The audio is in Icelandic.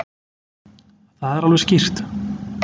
Það er alveg skýrt.